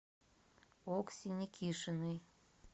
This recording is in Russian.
окси никишиной